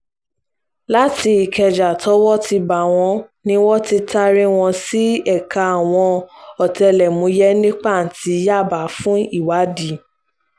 láti ìkẹjà tọ́wọ́ ti bá wọn ni wọ́n ti taari wọn sí ẹ̀ka àwọn ọ̀tẹlẹ̀múyẹ́ ní pàǹtí yábà fún ìwádìí